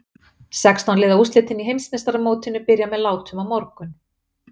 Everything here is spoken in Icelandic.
Sextán liða úrslitin í Heimsmeistaramótinu byrja með látum á morgun.